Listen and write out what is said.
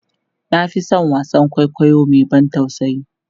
na Fi San wasaan kwaikwayo Mai ban tausayi